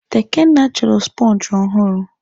Tekena chọrọ sponge ọhụrụ.